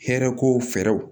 Hɛrɛ ko fɛɛrɛw